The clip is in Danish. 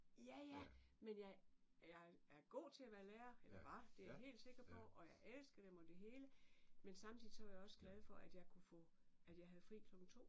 Ja ja! Men jeg jeg er god til at være lærer eller var det jeg helt sikker på og jeg elskede dem og det hele men samtidig så var jeg også glad for at jeg kunne få at jeg havde fri klokken 2